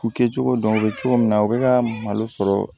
K'u kɛcogo dɔn u bɛ cogo min na u bɛ ka malo sɔrɔ